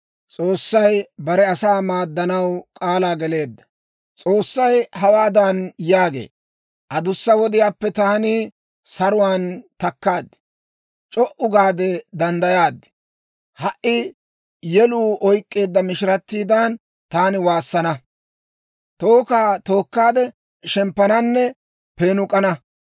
S'oossay hawaadan yaagee; «Adussa wodiyaappe taani saruwaan takkaad; c'o"u gaade danddayaad. Ha"i yeluu oykeedda mishiratiidan, taani waassana; tookka tookkaade shemppananne peenuk'ana.